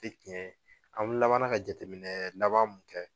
Tɛ tiɲɛ ye an laban na ka jateminɛ laban mun kɛ